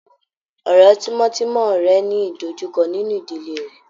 Ọ̀rẹ́ tímọ́tímọ́ rẹ̀ ń ní ìdọjúkọ́ nínú ìdílé rẹ̀.